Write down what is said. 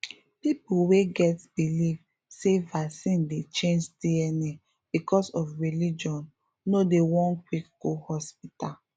people wey get believe say vaccine dey change dna because of religion no dey won quick go hospital